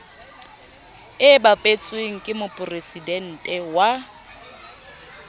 e bapetsweng ke moporesidente wa